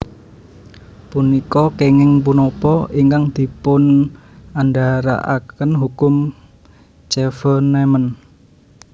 Punika kènging punapa ingkang dipunandharaken hukum Chevènement